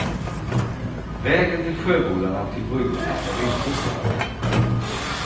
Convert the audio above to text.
Vägen till sjöbodarna och till bryggorna är rensopad.